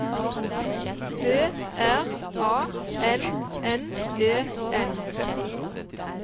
B R A N N E N